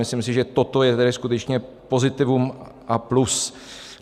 Myslím si, že toto je tedy skutečně pozitivum a plus.